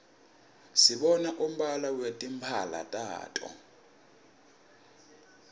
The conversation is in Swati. sibona umbala wetimphala tabo